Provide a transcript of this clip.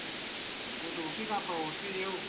motho ofe kapa ofe eo